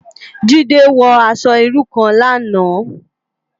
Jide wò aṣò irú kán làná